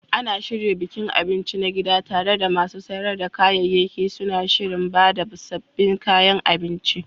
Ana shirya bikin abinci na gida, tare da masu sayar da kayayyaki suna shirin ba da sabbin kayan abinci.